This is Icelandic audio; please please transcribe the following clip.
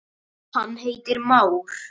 hann heitir már.